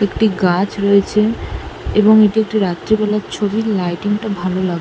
একটি গাছ রয়েছে এবং এটি একটি রাত্রিবেলার ছবি লাইটিং টা ভালো লাগছে।